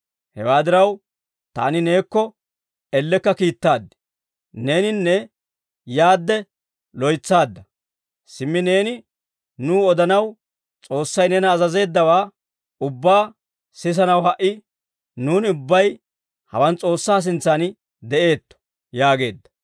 Hewaa diraw, taani neekko ellekka kiittaad; neeninne yaadde loytsaadda; simmi neeni nuw odanaw S'oossay neena azazeeddawaa ubbaa sisanaw ha"i nuuni ubbay hawaan S'oossaa sintsan de'eetto» yaageedda.